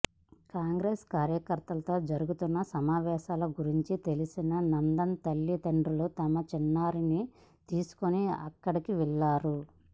కాంగ్రెస్ కార్యకర్తలతో జరుగుతున్న సమావేశం గురించి తెలిసిన నందన్ తల్లిదండ్రులు తమ చిన్నారిని తీసుకొని అక్కడకు వెళ్లారు